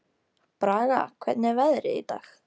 Braga, hvernig er veðrið í dag?